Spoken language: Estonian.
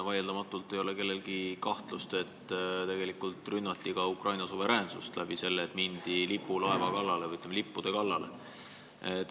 Vaieldamatult ei ole kellelgi kahtlust, et tegelikult rünnati Ukraina suveräänsust sellega, et mindi lipulaeva kallale või lippude kallale.